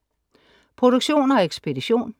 Produktion og ekspedition: